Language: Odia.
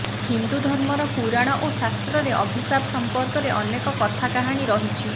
ହିନ୍ଦୁଧର୍ମର ପୁରାଣ ଓ ଶାସ୍ତ୍ରରେ ଅଭିଶାପ ସଂପର୍କରେ ଅନେକ କଥାକାହାଣୀ ରହିଛି